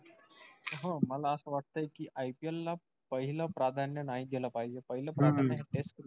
हो मला असं वाटतंय कि ipl ला पाहिलं प्राधान्य नाही दिल पाहिजे. पाहिलं प्राधान्य हे test cricket